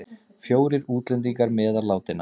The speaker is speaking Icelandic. Fjórir útlendingar meðal látinna